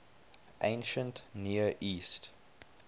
ancient near east